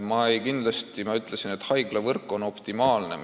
Ma tõesti ütlesin, et haiglavõrk on optimaalne.